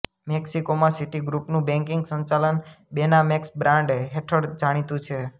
મેક્સિકોમાં સિટીગ્રુપનું બેંકિંગ સંચાલન બેનામેક્સબ્રાન્ડ હેઠળ જાણીતું છે